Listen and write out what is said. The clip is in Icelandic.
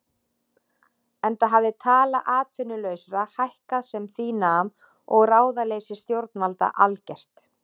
Enda hafði tala atvinnulausra hækkað sem því nam og ráðaleysi stjórnvalda algert.